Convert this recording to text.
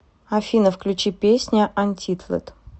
афина включи песня антитлэд